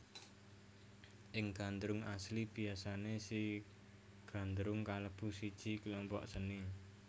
Ing Gandrung asli biasane si Gandrung kalebu siji kelompok seni